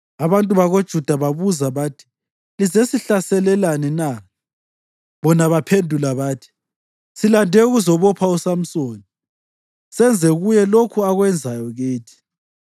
Abantu bakoJuda babuza bathi, “Lizesihlaselelani na?” Bona baphendula bathi, “Silande ukuzabopha uSamsoni, senze kuye lokhu akwenzayo kithi.”